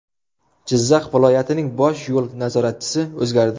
Jizzax viloyatining bosh yo‘l nazoratchisi o‘zgardi.